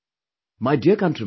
My dear countrymen